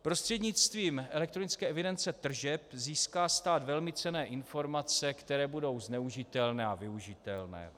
Prostřednictvím elektronické evidence tržeb získá stát velmi cenné informace, které budou zneužitelné a využitelné.